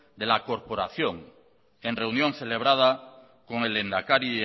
de la corporación en reunión celebrada con el lehendakari